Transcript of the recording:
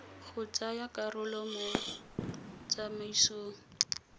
go tsaya karolo mo tsamaisong